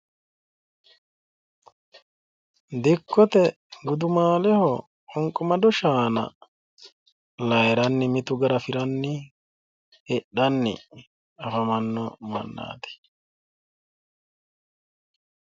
dikkote gudumaaleho qunqumado shaana layiiranni mitu garafiranni hidhanni afamanno mannaati.